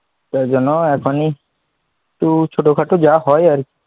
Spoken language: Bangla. সে জন্য এখনই, তো ছোট খাটো যা হয় আর কি,